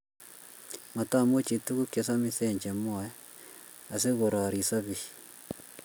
matamuchi tugukche samisen che mwoe asikurorisot biik